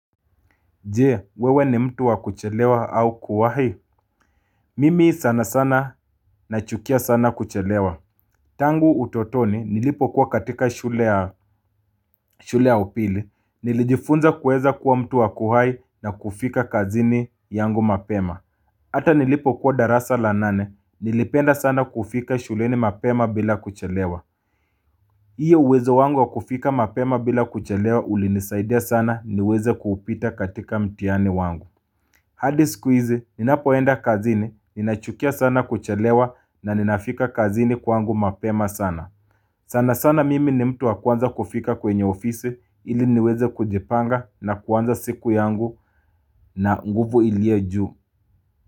Je, wewe ni mtu wa kuchelewa au kuwahi? Mimi sana sana nachukia sana kuchelewa. Tangu utotoni nilipokuwa katika shule ya upili, nilijifunza kuweza kuwa mtu wa kuwahi na kufika kazini yangu mapema. Hata nilipokuwa darasa la nane, nilipenda sana kufika shuleni mapema bila kuchelewa. Hiyo uwezo wangu wa kufika mapema bila kuchelewa ulinisaidia sana niweze kuupita katika mtihani wangu. Hadi siku hizi, ninapoenda kazini, ninachukia sana kuchelewa na ninafika kazini kwangu mapema sana. Sana sana mimi ni mtu wa kwanza kufika kwenye ofisi ili niweze kujipanga na kuanza siku yangu na nguvu ilio juu.